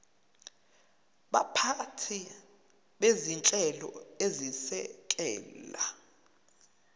baphathi bezinhlelo ezisekela